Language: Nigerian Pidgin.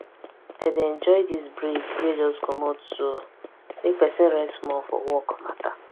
i dey enjoy this break wey just comot so make person rest small for work matter